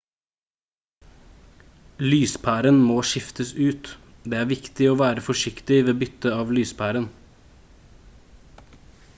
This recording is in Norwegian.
lyspæren må skiftes ut det er viktig å være forsiktig ved bytte av lyspæren